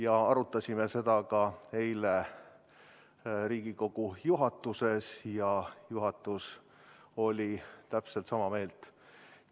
Me arutasime seda eile ka Riigikogu juhatuses ja juhatus oli täpselt sama meelt.